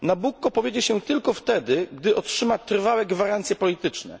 Nabucco powiedzie się tylko wtedy, gdy otrzyma trwałe gwarancje polityczne.